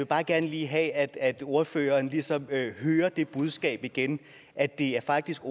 bare gerne lige have at ordføreren ligesom hører det budskab igen at det faktisk